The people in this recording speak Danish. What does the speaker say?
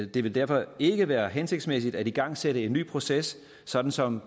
det vil derfor ikke være hensigtsmæssigt at igangsætte en ny proces sådan som